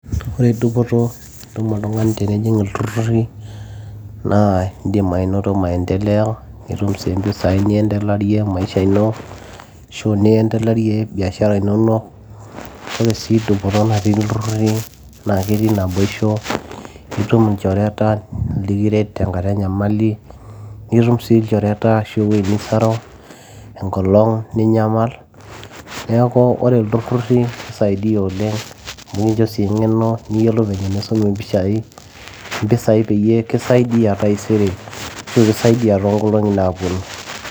ore dupoto nitum oltung'ani tenijing ilturruri naa indim anoto maendeleo nitumi sii mpisai niendelarie maisha ino ashu niendelarie biashara inonok ore sii dupoto natii ilturruri naa ketii naboisho itum inchoreta likiret tenkata enyamali nitum sii ilchoreta ashu ewueji nisaru enkolong ninyamal neeku ore ilturruri kisaidia oleng nikincho sii eng'eno niyiolou venye enishum impisai peyie kisaidia taisere ashu kisaidia toonkolong'i naaponu.